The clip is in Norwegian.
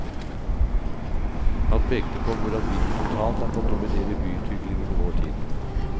Han pekte på hvordan bilen totalt har fått dominere byutviklingen i vår tid.